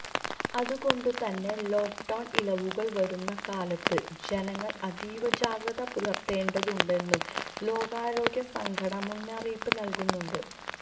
അതുകൊണ്ടുതന്നെ ലോക്ഡൌണ് ഇളവുകള് വരുന്ന കാലത്ത് ജനങ്ങള് അതീവജാഗ്രത പുലര്ത്തേണ്ടതുണ്ടെന്നും ലോകാരോഗ്യ സംഘടന മുന്നറിയിപ്പ് നല്കുന്നുണ്ട്